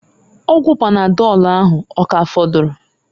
Ọgwụ panadọlụ ahu, ọ ka afọdụrụ?